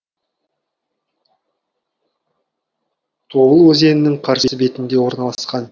тобыл өзенінің қарсы бетінде орналасқан